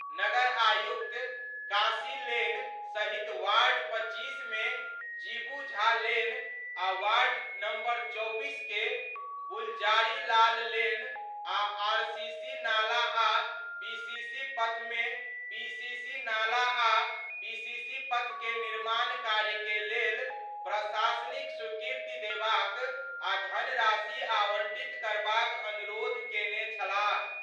नगर आयुक्त काशी लेन सहित वार्ड 25 मे जीबू झा लेन आ वार्ड नंबर 24 के गुलजारी लाल लेन आ आरसीसी नाला आ पीसीसी पथ मे पीसीसी नाला आ पीसीसी पथ के निर्माण कार्य के लेल प्रशासनिक स्वीकृति देबाक आ धनराशि आवंटित करबाक अनुरोध केने छलाह।